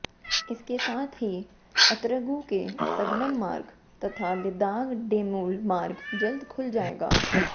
इसके साथ ही अतरगु से सगनम मार्ग तथा लिदाग डेमुल मार्ग जल्द खुल जाएगा